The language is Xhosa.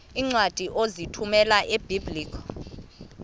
iincwadi ozithumela ebiblecor